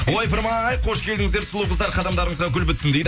ойпырмай қош келдіңіздер сұлу қыздар қадамдарыңызға гүл бітсін дейді